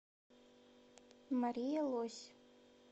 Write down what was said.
мария лось